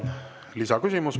Lisaküsimus.